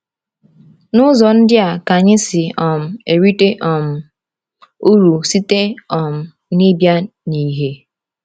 N’ụzọ ndị a ka anyị si um erite um uru site um n’ịbịa n’ìhè?